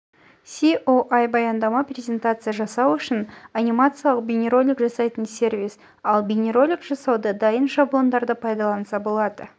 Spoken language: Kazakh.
іеаесо баяндама презентация жасау үшін анимациялық бейнеролик жасайтын сервис ал бейнеролик жасауда дайын шаблондарды пайдаланса болады